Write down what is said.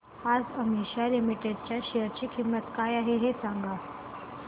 आज आशिमा लिमिटेड च्या शेअर ची किंमत काय आहे हे सांगा